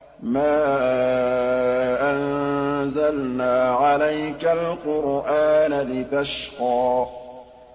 مَا أَنزَلْنَا عَلَيْكَ الْقُرْآنَ لِتَشْقَىٰ